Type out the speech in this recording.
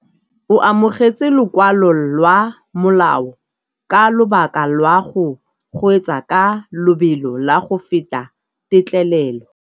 O amogetse lokwalô lwa molao ka lobaka lwa go kgweetsa ka lobelo la go feta têtlêlêlô.